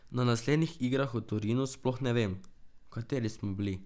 Na naslednjih igrah v Torinu sploh ne vem, kateri smo bili.